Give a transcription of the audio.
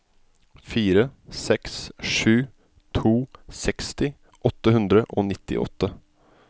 fire seks sju to seksti åtte hundre og nittiåtte